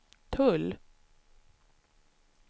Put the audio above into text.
tull